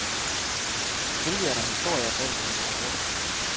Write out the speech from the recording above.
Selvfølgelig er der historier bag ved mine balletter.